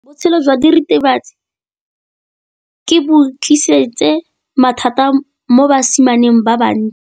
Botshelo jwa diritibatsi ke bo tlisitse mathata mo basimaneng ba bantsi.